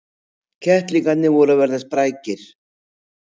Kettlingarnir voru að verða sprækir.